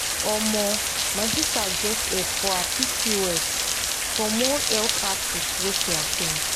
omo my sister get help for her pcos from one health outreach wey she at ten d.